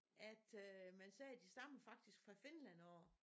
At øh man siger de stammer faktisk fra Finland af